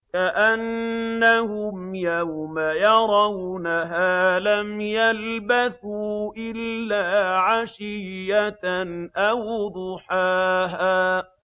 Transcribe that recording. كَأَنَّهُمْ يَوْمَ يَرَوْنَهَا لَمْ يَلْبَثُوا إِلَّا عَشِيَّةً أَوْ ضُحَاهَا